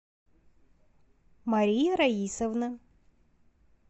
мария раисовна